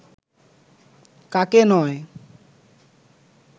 কাকে নয়